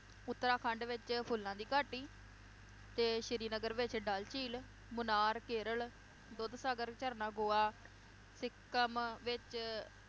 ਉੱਤਰਾਖੰਡ ਵਿਚ ਫੁੱਲਾਂ ਦੀ ਘਾਟੀ, ਤੇ ਸ਼੍ਰੀਨਗਰ ਵਿਚ ਡਲ ਝੀਲ, ਮੁਨਾਰ, ਕੇਰਲ, ਦੁੱਧ ਸਾਗਰ ਝਰਨਾ, ਗੋਆ, ਸਿੱਕਮ ਵਿਚ